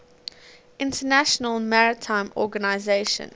international maritime organization